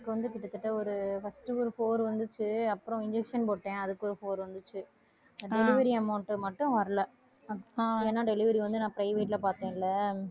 எனக்கு வந்து கிட்டத்தட்ட ஒரு first ஒரு four வந்துச்சு அப்புறம் injection போட்டேன் அதுக்கு ஒரு four வந்துச்சு delivery amount மட்டும் வரலை ஏன்னா delivery வந்து நான் private ல பார்த்தேன் இல்லை